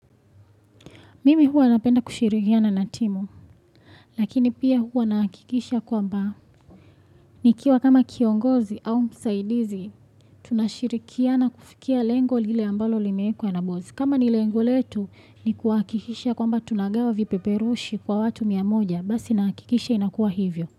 Mimi huwa napenda kushirikia na natimu, lakini pia huwa nakikisha kwamba nikiwa kama kiongozi au msaidizi, tunashirikiana kufikia lengo lile ambalo limeekwa na bozi. Kama ni lengo letu, ni kuakikisha kwamba tunagawa vipeperushi kwa watu mia moja, basi nakikisha inakuwa hivyo.